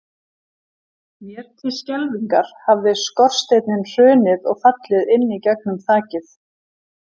Mér til skelfingar hafði skorsteinninn hrunið og fallið inn í gegnum þakið.